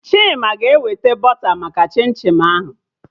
Chima ga-eweta bọta maka chim chim ahụ